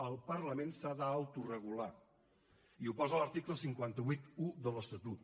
el parlament s’ha d’autoregular i ho posa en l’article cinc cents i vuitanta un de l’estatut